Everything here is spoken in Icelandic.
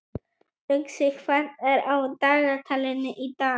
Uxi, hvað er á dagatalinu í dag?